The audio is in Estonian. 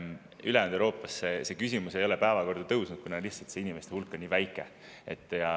Ülejäänud Euroopas ei ole see küsimus päevakorda tõusnud, kuna lihtsalt nende inimeste hulk on nii väike.